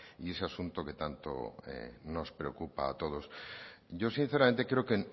y ese asunto que tanto nos preocupa a todos yo sinceramente creo que